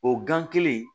O gan kelen